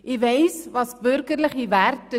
Ich kenne die bürgerlichen Werte;